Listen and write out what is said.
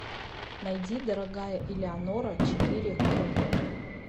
найди дорогая элеонора четыре к